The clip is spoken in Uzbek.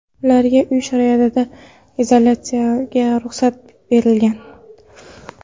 Ularga uy sharoitida izolyatsiyaga ruxsat berilgan.